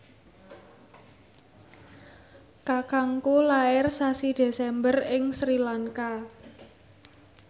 kakangku lair sasi Desember ing Sri Lanka